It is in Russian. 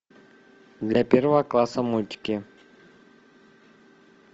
для первого класса мультики